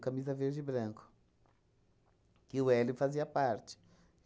Camisa Verde e Branco, que o Hélio fazia parte.